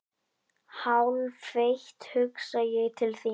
Hálfeitt hugsa ég til þín.